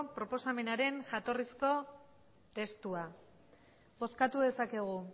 proposamenaren jatorrizko testua bozkatu dezakegu